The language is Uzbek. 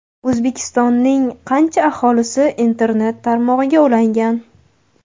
O‘zbekistonning qancha aholisi internet tarmog‘iga ulangan?.